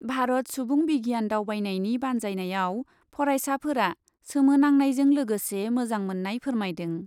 भारत सुबुं बिगियान दावबायनायनि बान्जायनायाव फरायसाफोरा सोमोनांनायजों लोगोसे मोजां मोन्नाय फोरमायदों ।